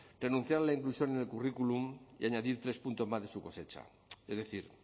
renunciar a la inclusión en el currículum y añadir tres puntos más de su cosecha es decir